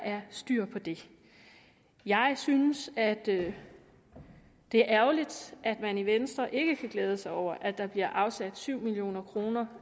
er styr på det jeg synes at det er ærgerligt at man i venstre ikke kan glæde sig over at der bliver afsat syv million kroner